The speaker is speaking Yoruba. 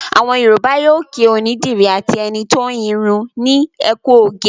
Àwọn Yorùbá yóò kí onídìrí àti ẹni tó ń irun ní "ẹ kú oge".